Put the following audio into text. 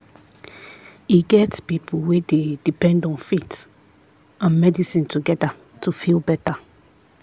e get people wey dey depend on faith and medicine together to feel better.